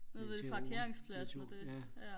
netto netto ja